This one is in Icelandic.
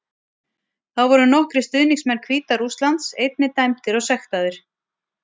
Þá voru nokkrir stuðningsmenn Hvíta Rússlands einnig dæmdir og sektaðir.